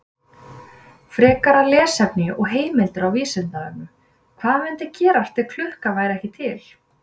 Frekara lesefni og heimildir á Vísindavefnum: Hvað mundi gerast ef klukka væri ekki til?